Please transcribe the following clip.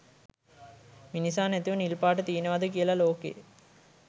මිනිසා නැතිව නිල්පාට තියෙනවද කියලා ලෝකේ?